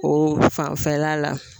O fanfɛla la